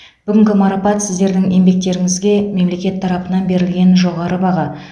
бүгінгі марапат сіздердің еңбектеріңізге мемлекет тарапынан берілген жоғары баға